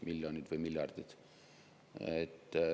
– miljoneid või miljardeid.